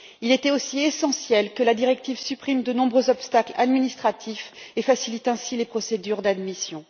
Il était aussi essentiel que la directive supprime de nombreux obstacles administratifs et facilite ainsi les procédures d'admission.